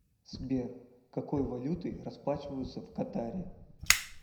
сбер какой валютой расплачиваются в катаре